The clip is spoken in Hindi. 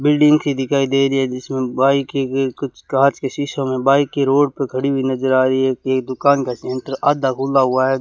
बिल्डिंग सी दिखाई दे रही है जिसमें बाइके के कुछ कांच के शीशे में बाइक ये रोड पर खड़ी हुई नजर आ रही है ये दुकान का सेंटर आधा खुला हुवा है।